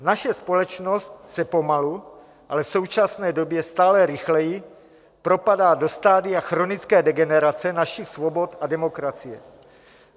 Naše společnost se pomalu, ale v současné době stále rychleji propadá do stadia chronické degenerace našich svobod a demokracie.